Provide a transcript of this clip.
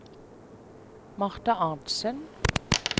Marta Arntzen